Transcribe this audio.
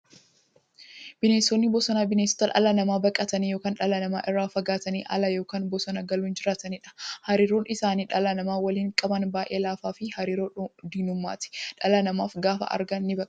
Bineensonni bosonaa bineensota dhala namaa baqatanii yookiin dhala namaa irraa fagaatanii ala yookiin bosona galuun jiraataniidha. Hariiroon isaan dhala namaa waliin qaban baay'ee laafaafi hariiroo diinummaati. Dhala namaa gaafa argan nibaqatu.